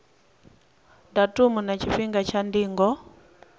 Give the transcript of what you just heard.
datumu na tshifhinga tsha ndingo